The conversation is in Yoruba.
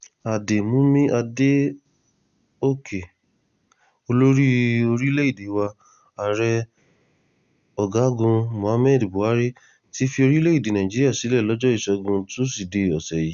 àdèmúmí adókè olórí orílẹ̀‐èdè wa ààrẹ ọ̀gágun muhammadu buhari ti fi orílẹ̀‐èdè nàíjíríà sílẹ̀ lọ́jọ́ ìṣẹ́gun túṣídéé ọ̀sẹ̀ yìí